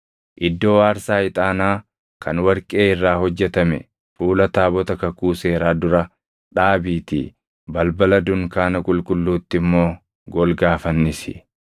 Iddoo aarsaa ixaanaa kan warqee irraa hojjetame fuula taabota kakuu seeraa dura dhaabiitii balbala dunkaana qulqulluutti immoo golgaa fannisi.